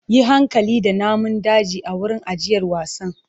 Yi hankali da namun daji a wurin ajiyar wasan!